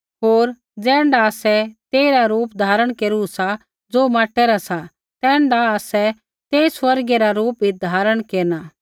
होर ज़ैण्ढा आसै तेइरा रूप धारण केरू सा ज़ो माँटे रा सा तैण्ढा आसा तेई स्वर्गीय रा रूप भी धारण केरना सा